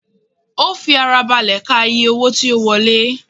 Ó fi ara balẹ̀ ka iye owó tí ó wọlé